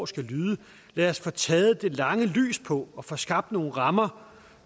skal lyde lad os få taget det lange lys på og få skabt nogle rammer